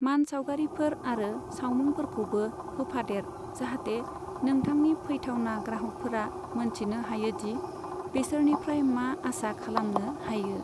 मानसावगारिफोर आरो सावमुंफोरखौबो होफादेर जाहाते नोंथांनि फैथावना ग्राहकफोरा मोनथिनो हायोदि बेसोरनिफ्राय मा आसा खालामनो हायो।